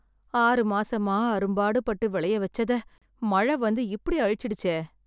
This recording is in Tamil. ஆறு மாசமா அரும்பாடு பட்டு விளைய வெச்சதை மழ வந்து இப்படி அழிச்சுட்டுசே.